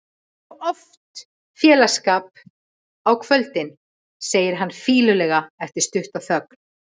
Þú hefur nú oft félagsskap á kvöldin, segir hann fýlulega eftir stutta þögn.